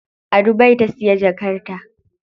A Dubai ta siya jakar ta.